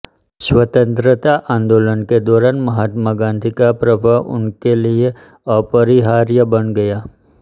स्वतन्त्रता आंदोलन के दौरान महात्मा गांधी का प्रभाव उनके लिए अपरिहार्य बन गया